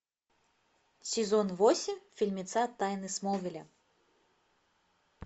сезон восемь фильмеца тайны смолвиля